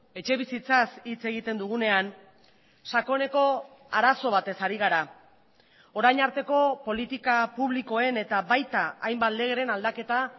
etxebizitzaz hitz egiten dugunean sakoneko arazo batez ari gara orain arteko politika publikoen eta baita hainbat legeren aldaketa